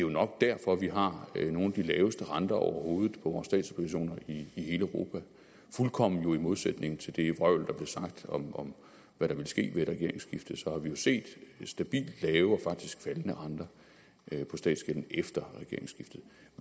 nok derfor at vi har nogle af de laveste renter overhovedet på vores statsobligationer i hele europa fuldkommen i modsætning til det vrøvl der blev sagt om om hvad der ville ske ved et regeringsskifte har vi jo set stabilt lave og faktisk faldende renter på statsgælden efter regeringsskiftet